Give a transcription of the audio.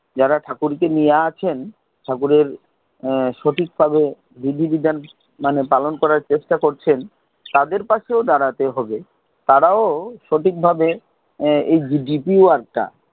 যারা ঠাকুর কে নিয়ে আছেন, ঠাকুরের এর সঠিক ভাবে বিধি বিধান পালন করার চেষ্টা করছেন, তাদের পাশেও দাঁড়াতে হবে। তারাও সঠিক ভাবে deepwork টা,